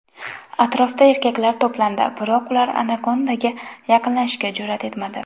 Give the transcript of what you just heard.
Atrofda erkaklar to‘plandi, biroq ular anakondaga yaqinlashishga jur’at etmadi.